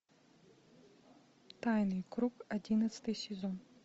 тайный круг одиннадцатый сезон